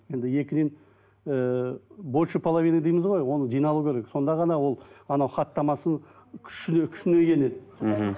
енді екіден ііі больше половина дейміз ғой оны жиналу керек сонда ғана ол анау хаттамасын күшіне енеді мхм